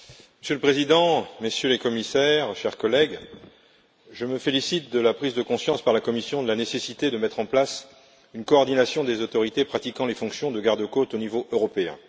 Monsieur le Président, Messieurs les Commissaires, chers collègues, je me félicite de la prise de conscience par la Commission de la nécessité de mettre en place une coordination des autorités pratiquant les fonctions de garde côtes au niveau européen.